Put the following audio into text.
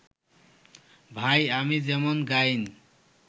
ভাই, আমি যেমন গাইন